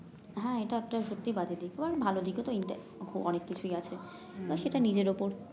হ্যাঁ এটা একটা সত্যি বাজে দিক ও আর ভাল দিক ও তো অনেক কিছুই আছে তো সেটা নিজের উপর